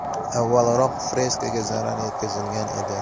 Avvalroq freskaga zarar yetkazilgan edi.